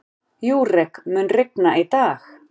Júrek, mun rigna í dag?